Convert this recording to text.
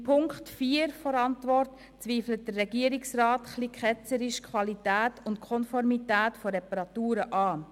In Punkt 4 seiner Antwort, zweifelt der Regierungsrat ein wenig ketzerisch die Qualität und Konformität von Reparaturen an.